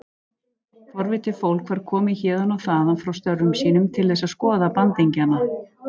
Forvitið fólk var komið héðan og þaðan frá störfum sínum til þess að skoða bandingjana.